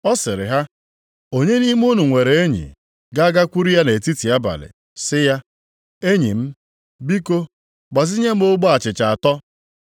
Ọ sịrị ha, “Onye nʼime unu nwere enyi, ga-agakwuru ya nʼetiti abalị sị ya, ‘Enyi m, biko gbazinye m ogbe achịcha atọ,